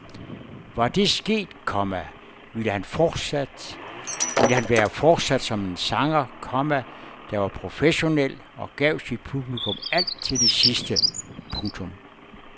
Var det sket, komma ville han være fortsat som en sanger, komma der var professionel og gav sit publikum alt til det sidste. punktum